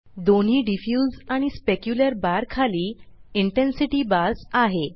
दोन्ही डिफ्यूज आणि specular bar खाली इंटेन्सिटी बार्स आहे